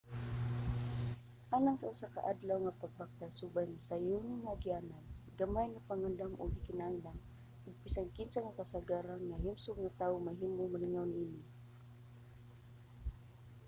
alang sa usa ka adlaw nga pagbaktas subay ang sayon nga agianan gamay nga pagpangandam ang gikinahanglan ug bisan kinsa nga kasarangan nga himsog nga tawo mahimong malingaw niini